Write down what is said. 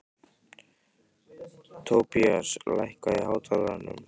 Tobías, lækkaðu í hátalaranum.